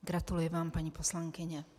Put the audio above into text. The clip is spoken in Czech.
Gratuluji vám, paní poslankyně.